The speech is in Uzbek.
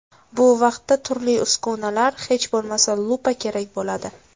Bu vaqtda turli uskunalar, hech bo‘lmasa lupa kerak bo‘ladi.